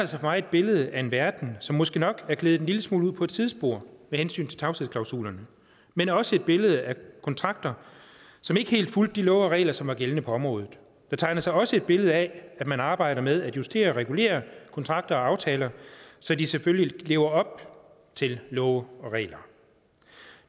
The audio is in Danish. sig for mig et billede af en verden som måske nok er gledet en lille smule ud på et sidespor med hensyn til tavshedsklausulerne men også et billede af kontrakter som ikke helt fulgte de love og regler som er gældende på området der tegner sig også et billede af at man arbejder med at justere og regulere kontrakter og aftaler så de selvfølgelig lever op til love og regler